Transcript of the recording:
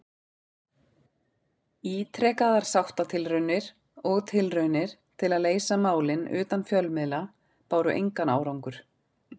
Ítrekaðar sáttatilraunir og tilraunir til að leysa málin utan fjölmiðla báru engan árangur.